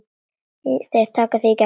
Þeir taka þig í gegn!